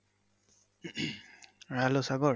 hello Sagar